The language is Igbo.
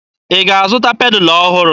Ị ga-azụta pedalụ ọhụrụ!